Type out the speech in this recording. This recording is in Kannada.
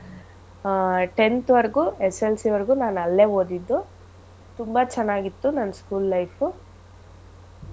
ಆಹ್ tenth ವರ್ಗೂ SSLC ವರ್ಗೂ ನಾನ್ ಅಲ್ಲೇ ಓದಿದ್ದು ತುಂಬಾ ಚೆನ್ನಾಗ್ ಇತ್ತು ನನ್ school life ಉ.